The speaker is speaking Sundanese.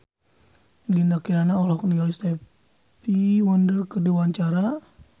Dinda Kirana olohok ningali Stevie Wonder keur diwawancara